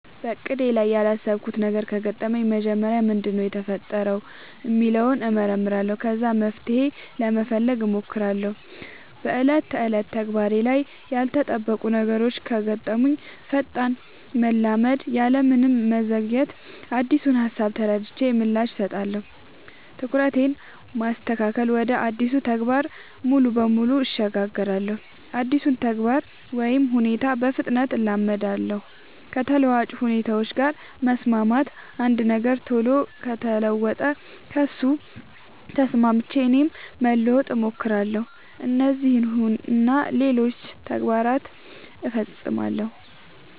በእቅዴ ላይ ያላሰብኩት ነገር ከገጠመኝ መጀመሪያ ምንድነው የተፈጠረው ሚለውን እመረምራለሁ ከዛ መፍትሄ ለመፈለግ ሞክራለው በ ዕለት ተዕለት ተግባሬ ላይ ያልተጠበቁ ነገሮች ከገጠሙኝ ፈጣን መላመድ ያለምንም መዘግየት አዲሱን ሃሳብ ተረድቼ ምላሽ እሰጣለሁ። ትኩረትን ማስተካከል ወደ አዲሱ ተግባር ሙሉ በሙሉ እሸጋገራለሁ አዲሱን ተግባር ወይ ሁኔታ በፍጥነት እላመዳለው። ከተለዋዋጭ ሁኔታዎች ጋር መስማማት አንድ ነገር ቶሎ ከተለወጠ ከሱ ተስማምቼ እኔም ለመለወጥ ሞክራለው። እነዚህን እና ሌሎችም ተግባር ፈፅማለው።